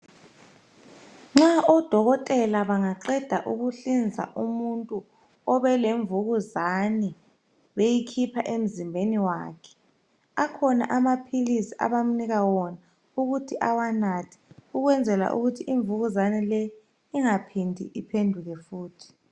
Nxa odokotela bangaqeda ukuhlinza umuntu obelemvukuzani. Beyikhipha emzimbeni wakhe. Akhona amaphilisi, abamupha wona. Ukuze imvukuzane le ingaphindi iphenduke futhi.